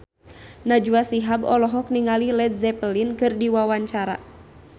Najwa Shihab olohok ningali Led Zeppelin keur diwawancara